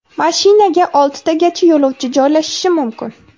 Mashinaga oltitagacha yo‘lovchi joylashishi mumkin.